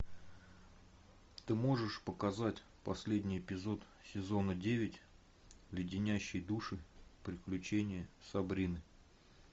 ты можешь показать последний эпизод сезона девять леденящие душу приключения сабрины